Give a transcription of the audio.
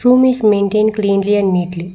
room is maintained cleanly and neatly.